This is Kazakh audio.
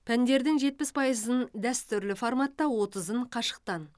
пәндердің жетпіс пайызын дәстүрлі форматта отызын қашықтан